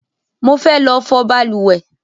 Mo fe lọ fọ balùwẹ́